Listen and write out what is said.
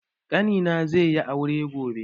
Ƙani na ze yi aure gobe